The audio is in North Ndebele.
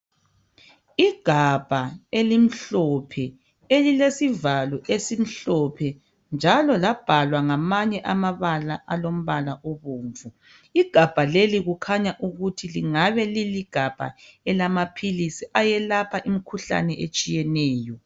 Igabha elimhlophe elilesivalo esimhlophe njalo labhalwa ngamanye amabala alombala obomvu. Igabha leli kukhanya ukuthi lingabe liligabha elamaphilisi ayelapha imkhuhlane etshiyeneyo.